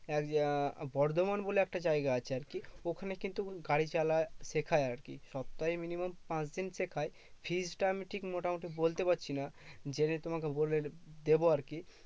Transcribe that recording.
এক আহ বর্ধমান বলে একটা জায়গা আছে আরকি। ওখানে কিন্তু গাড়ি চালা শেখায় আরকি। সপ্তাহে minimum পাঁচদিন শেখায় fees টা আমি ঠিক মোটামুটি বলতে পারছি না। জেনে তোমাকে বলে দেব আরকি।